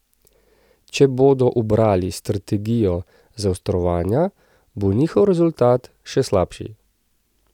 Če bodo ubrali strategijo zaostrovanja, bo njihov rezultat še slabši.